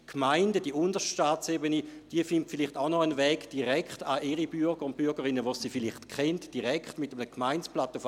Die Gemeinden, die unterste Staatsebene, finden vielleicht auch noch einen Weg, direktmit einem Gemeindeblatt an ihre Bürger und Bürgerinnen, die sie vielleicht kennen, zu gelangen.